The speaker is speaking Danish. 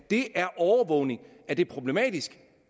det er overvågning er det problematisk